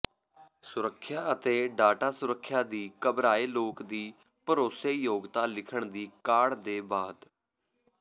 ਸੁਰੱਖਿਆ ਅਤੇ ਡਾਟਾ ਸੁਰੱਖਿਆ ਦੀ ਘਬਰਾਏ ਲੋਕ ਦੀ ਭਰੋਸੇਯੋਗਤਾ ਲਿਖਣ ਦੀ ਕਾਢ ਦੇ ਬਾਅਦ